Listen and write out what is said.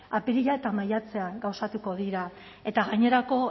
apirila eta maiatzean gauzatuko dira eta gainerako